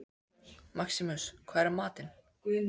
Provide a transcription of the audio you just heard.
Maximus, hvað er í matinn?